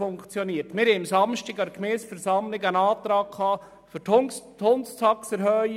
Wir hatten am Samstag an der Gemeindeversammlung einen Antrag auf Erhöhung der Hundetaxe.